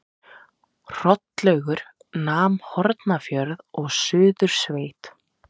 Hrollaugur nam Hornafjörð og Suðursveit.